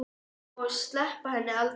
Og sleppa henni aldrei.